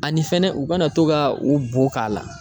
Ani fɛnɛ u kana to ka u bo k'a la.